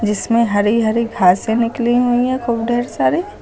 इसमें हरि हरि घासें निकली हुई हैं खूब ढेर सारी।